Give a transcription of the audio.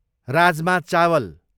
राजमा चावल